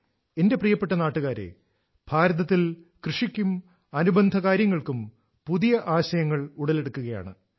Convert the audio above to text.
എന്റെ പ്രിയപ്പെട്ട നാട്ടുകാരെ ഭാരതത്തിൽ കൃഷിക്കും അനുബന്ധ കാര്യങ്ങൾക്കും പുതിയ ആശയങ്ങൾ ഉടലെടുക്കുകയാണ്